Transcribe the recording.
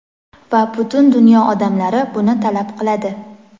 Va butun dunyo odamlari buni talab qiladi.